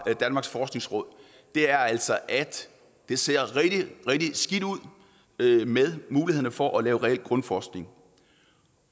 danmarks forskningsråd er altså at det ser rigtig rigtig skidt ud med mulighederne for at lave reel grundforskning